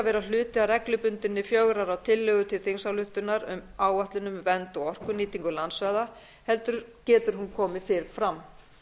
vera hluti af reglubundinni fjögurra ára tillögu til þingsályktunar um áætlun um vernd og orkunýtingu landsvæða heldur getur hún komið fyrr fram